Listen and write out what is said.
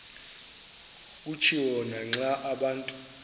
kutshiwo naxa abantu